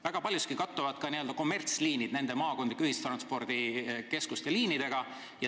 Väga paljuski kattuvad n-ö kommertsliinid maakondlike ühistranspordikeskuste liinidega.